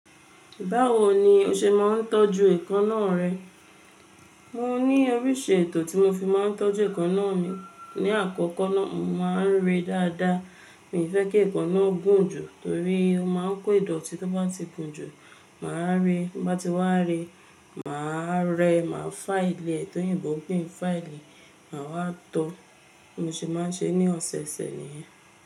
Báwo ni o ṣe máa ń tọ́jú èékánná rẹ? Mo ní oríṣi ètò tí mo fi máa ń tọ́jú èékánná mi. Ni àkókó náà, mo máa ń re dáadáa. Mi fẹ́ kí èékánná gùn jù torí ó máa ń kó ìdọ̀tí tí ó bá ti gùn jù. Mà á re, bá ti wá re, mà á rẹ, mà á filẹ̀ ẹ́ tóyinbo, pe ni fáìlì, màá wá tọ. Bi mo ṣe máa ń ṣe ní ọ̀sẹ̀ẹ̀sẹ̀ nìyẹn.